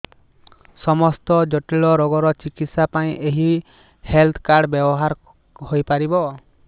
ସମସ୍ତ ଜଟିଳ ରୋଗର ଚିକିତ୍ସା ପାଇଁ ଏହି ହେଲ୍ଥ କାର୍ଡ ବ୍ୟବହାର ହୋଇପାରିବ